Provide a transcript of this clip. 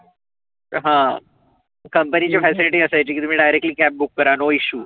हा company च्या facility असायची की तुम्ही directly cab book करा no issue